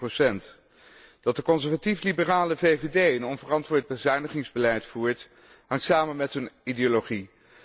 1,1. Dat de conservatief liberale VVD een onverantwoord bezuinigingsbeleid voert, hangt samen met hun ideologie.